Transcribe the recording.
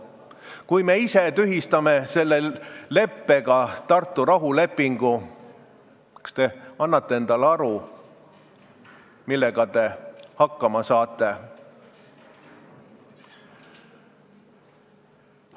Kui me ise tühistame selle leppega Tartu rahulepingu, kas te siis annate endale aru, millega te hakkama saate?